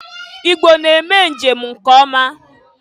Igbo na-eme njem nke ọma.